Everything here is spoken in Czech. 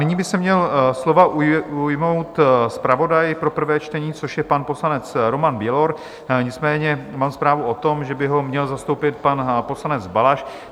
Nyní by se měl slova ujmout zpravodaj pro prvé čtení, což je pan poslanec Roman Bělor, nicméně mám zprávu o tom, že by ho měl zastoupit pan poslanec Balaš.